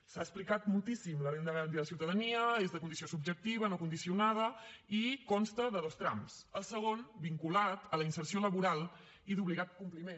s’ha explicat moltíssim la renda garantida de ciutadania és de condició subjectiva no condicionada i consta de dos trams el segon vinculat a la inserció laboral i d’obligat compliment